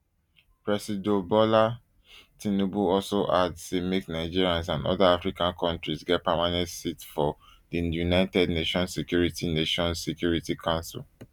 presido bola tinubu also add say make nigeria and oda african kontris get permanent seats for di united nations security nations security council